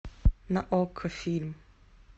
на окко фильм